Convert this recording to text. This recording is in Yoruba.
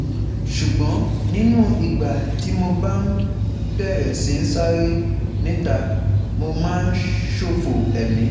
Ṣùgbọ́n nínú ìgbà tí mo bá bẹ̀rẹ̀ sí ń sáré (níta), mo máa ń ṣòfò ẹ̀mí